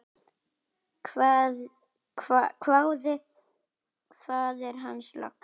hváði faðir hans loks.